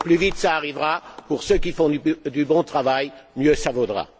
Et plus vite cela arrivera pour ceux qui font du bon travail, mieux cela vaudra.